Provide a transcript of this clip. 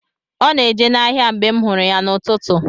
Ọ na-eje n’ahịa mgbe m hụrụ ya n’ụtụtụ.